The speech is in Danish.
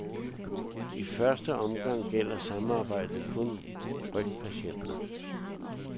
I første omgang gælder samarbejdet kun rygpatienter.